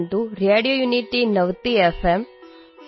radio unity ninety F এম২